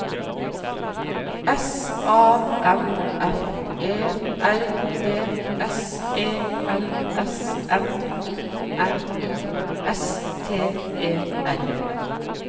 S A M F E R D S E L S M I N I S T E R